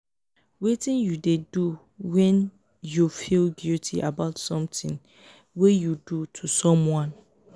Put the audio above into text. wetin you dey do when you feel guilty about something wey you do to someone?